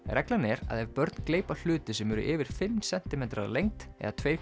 reglan er að ef börn gleypa hluti sem eru yfir fimm sentimetrar að lengd eða tvær